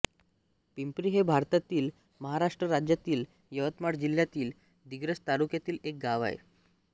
पिंपरी हे भारतातील महाराष्ट्र राज्यातील यवतमाळ जिल्ह्यातील दिग्रस तालुक्यातील एक गाव आहे